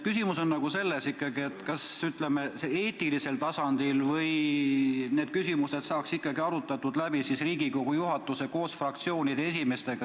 Küsimus on ikkagi selles, kas, ütleme, eetilisel tasandil saaks Riigikogu juhatus arutada need küsimused läbi koos fraktsioonide esimeestega.